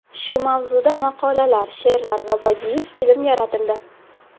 Shu mavzuda maqolalar, she’rlar va badiiy film yaratildi.